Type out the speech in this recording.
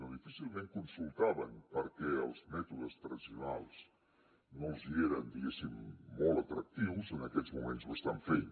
o difícilment consultaven perquè els mètodes tradicionals no els hi eren diguéssim molt atractius en aquests moments ho estan fent